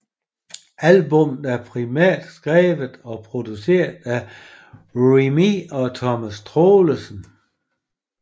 Albummet er primært skrevet og produceret af Remee og Thomas Troelsen